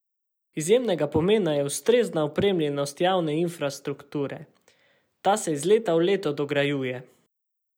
Izjemnega pomena je ustrezna opremljenost javne infrastrukture, ta se iz leta v leto dograjuje.